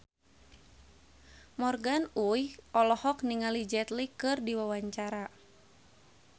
Morgan Oey olohok ningali Jet Li keur diwawancara